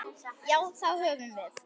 Já, það höfum við.